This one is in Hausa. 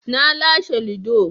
Na lashe ludo